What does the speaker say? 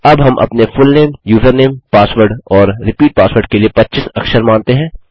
अब हम अपने फुलनेम यूज़रनेम पासवर्ड और रिपीट पासवर्ड के लिए 25 अक्षर मानते हैं